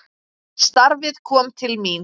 Starfið kom til mín!